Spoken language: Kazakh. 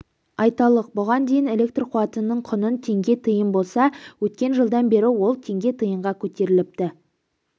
айталық бұған дейін электр қуатының құны теңге тиын болса өткен жылдан бері ол теңге тиынға көтеріліпті